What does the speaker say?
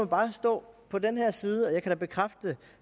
bare stå på den her side og jeg kan bekræfte